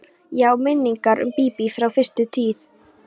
Ég á minningar um Bíbí frá fyrstu tíð.